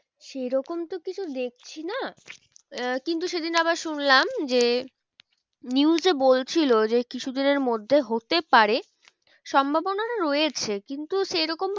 সে রকম তো কিছু দেখছি না আহ কিন্তু সেদিন আবার শুনলাম যে news এ বলছিলো যে কিছু দিনের মধ্যে হতে পারে। সম্ভবনাটা রয়েছে কিন্তু সে রকম